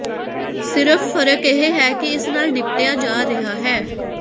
ਸਿਰਫ ਫਰਕ ਇਹ ਹੈ ਕਿ ਇਸ ਨਾਲ ਨਿਪਟਿਆ ਜਾ ਰਿਹਾ ਹੈ